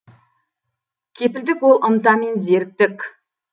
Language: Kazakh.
кепілдік ол ынта мен зеріктік